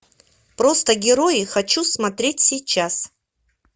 просто герои хочу смотреть сейчас